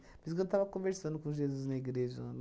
Por isso que eu estava conversando com Jesus na igreja.